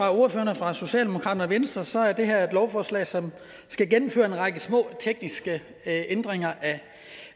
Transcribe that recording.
af ordførerne fra socialdemokratiet og venstre er det her et lovforslag som skal gennemføre en række små tekniske ændringer